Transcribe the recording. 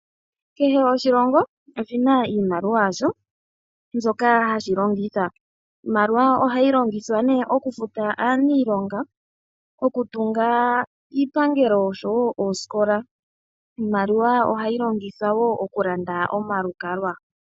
Kehe oshilongo oshina iimaliwa yasho mbyoka hashi longitha. Iimaliwa ohayi longithwa ne okufuta aaniilonga, okutunga iipangelo oshowo oskola. Iimaliwa ohayi longithwa woo okulanda omalukalwa.